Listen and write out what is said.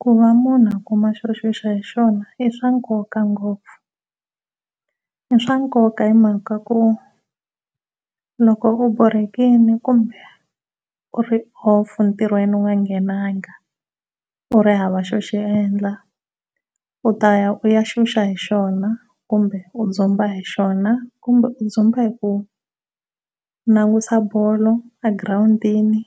Ku va munhu a kuma xo xuxa hi xona i swa nkoka ngopfu, i swa nkoka hi mhaka ku loko u borhekile kumbe u ri entirhweni u nga nghenanga u ri hava xo xi endla u ta ya u ya xuxa hi xona kumbe u dzumba hi xona kumbe u dzumba hi ku ya langutisa bolo a girawundini.